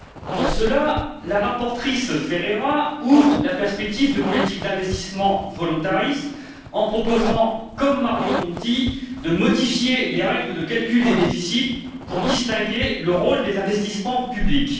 Pour cela, la rapporteure Ferreira ouvre la perspective de politiques d'investissement volontaristes en proposant, comme Mario Monti, de modifier les règles de calcul des déficits pour distinguer le rôle des investissements publics.